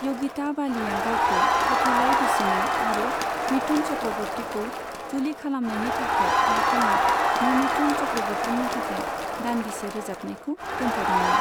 योगिता बालिया गावखौ फाथैलाइ बिसिनाइ आरो मिथुन चक्र'बर्तिखौ जुलि खालामनायनि थाखाय बिथाङा ममिथुन चक्र'बर्तिनि थाखाय दान्दिसे रोजाबनायखो दोनथ'दोंमोन।